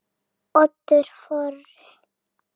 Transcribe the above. Oddur Þorri.